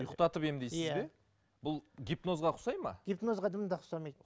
ұйықтатып емдейсіз бе бұл гипнозға ұқсайды ма гипнозға дым да ұқсамайды